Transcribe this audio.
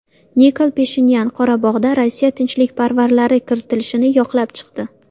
Nikol Pashinyan Qorabog‘ga Rossiya tinchlikparvarlari kiritilishini yoqlab chiqdi.